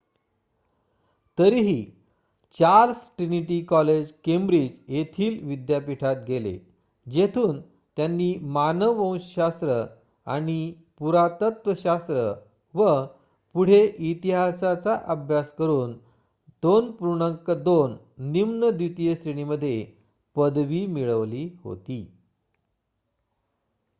तरीही Charles Trinity College Cambridge येथील विद्यापीठात गेले जेथून त्यांनी मानववंश शास्त्र आणि पुरातत्वशास्त्र व पुढे इतिहासाचा अभ्यास करून २:२ निम्न द्वितीय श्रेणीमध्ये पदवी मिळवली होती